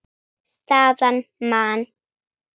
Staðan: Man.